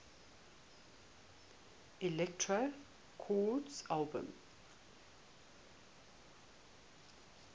elektra records albums